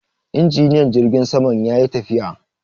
Injiniyan jirgin saman ya yi tafiya.